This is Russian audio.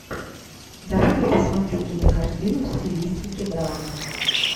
давай я посмотрю кинокартину в стилистике драма